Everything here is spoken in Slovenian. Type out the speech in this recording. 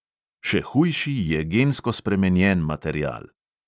Še hujši je gensko spremenjen material.